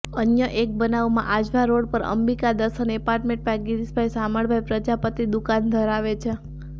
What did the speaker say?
અન્ય એક બનાવમાં આજવા રોડ પર અંબિકા દર્શન એપાર્ટમેન્ટમાં ગીરીશભાઈ શામળભાઈ પ્રજાપતિ દુકાન ધરાવે છે